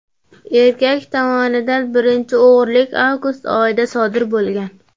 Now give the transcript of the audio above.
Erkak tomonidan birinchi o‘g‘rilik avgust oyida sodir etilgan.